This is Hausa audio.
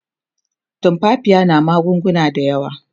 tumfafiya na magunguna da yawa